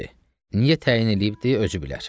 Niyə təyin eləyibdir, özü bilər.